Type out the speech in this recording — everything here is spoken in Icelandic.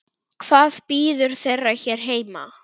Hvað bíður þeirra hér heima?